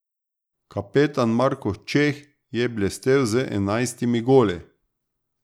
Kapetan Marko Čeh je blestel z enajstimi goli.